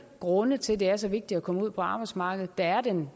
grunde til at det er så vigtigt at komme ud på arbejdsmarkedet der er den